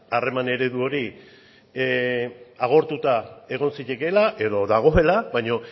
harreman eredu hori agortuta egon zitekeela edo dagoela baina